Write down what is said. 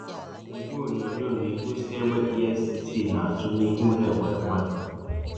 Igwe onyonyo na-egosi egbe EFCC na-atụ n’ihu ụlọ Ekweremadu.